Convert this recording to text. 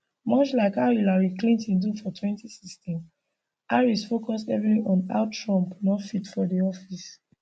much like how hillary clinton do for 2016 harris focus heavily on how trump no fit for di office